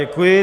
Děkuji.